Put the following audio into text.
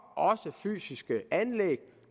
fysiske anlæg men